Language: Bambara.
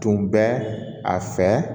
Tun bɛ a fɛ